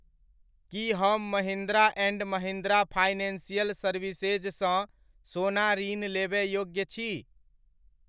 की हम Mahindra and Mahindra financial services सँ सोना ऋण लेबय योग्य छी?